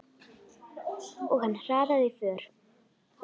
Og hann hraðaði för.